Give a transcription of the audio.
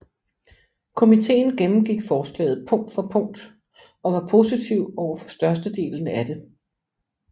Komiteen gennemgik forslaget punkt for punkt og var positiv overfor størstedelen af det